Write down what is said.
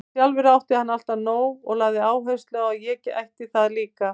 Sjálfur átti hann alltaf nóg og lagði áherslu á að ég ætti það líka.